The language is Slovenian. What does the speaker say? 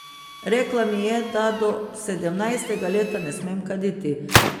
Rekla mi je, da do sedemnajstega leta ne smem kaditi.